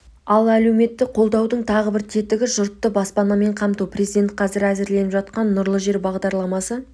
ал әлеуметті қолдаудың тағы бір тетігі жұртты баспанамен қамту президент қазір әзірленіп жатқан нұрлы жер бағдарламасы